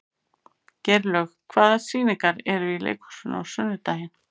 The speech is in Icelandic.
Geirlaug, hvaða sýningar eru í leikhúsinu á sunnudaginn?